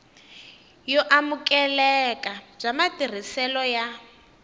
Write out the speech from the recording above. yo amukeleka bya matirhiselo ya